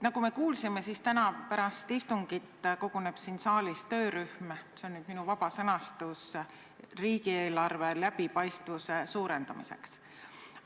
Nagu me kuulsime, täna pärast istungit koguneb siin saalis töörühm riigieelarve läbipaistvuse suurendamisega tegelemiseks.